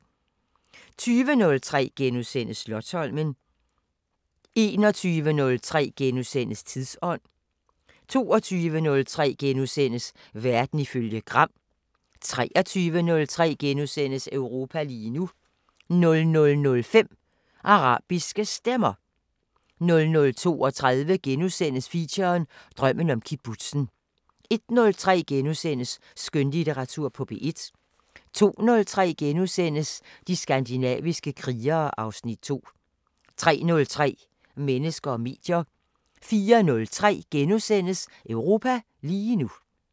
20:03: Slotsholmen * 21:03: Tidsånd * 22:03: Verden ifølge Gram * 23:03: Europa lige nu * 00:05: Arabiske Stemmer 00:32: Feature: Drømmen om kibbutzen * 01:03: Skønlitteratur på P1 * 02:03: De skandinaviske krigere (Afs. 2)* 03:03: Mennesker og medier 04:03: Europa lige nu *